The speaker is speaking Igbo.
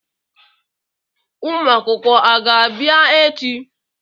Ụmụ akwụkwọ a ga-abịa echi?